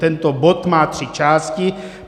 Tento bod má tři části.